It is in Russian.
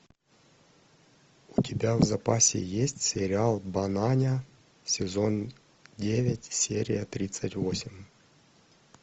у тебя в запасе есть сериал бананя сезон девять серия тридцать восемь